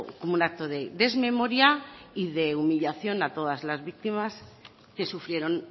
como un acto de desmemoria y de humillación a todas las víctimas que sufrieron